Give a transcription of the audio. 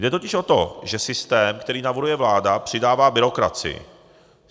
Jde totiž o to, že systém, který navrhuje vláda, přidává byrokracii.